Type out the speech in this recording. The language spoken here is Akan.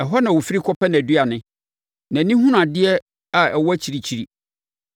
Ɛhɔ na ɔfiri kɔpɛ nʼaduane; nʼani hunu adeɛ a ɛwɔ akyirikyiri.